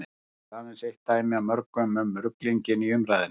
þetta er aðeins eitt dæmi af mörgum um ruglinginn í umræðunni